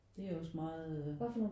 Det er også meget øh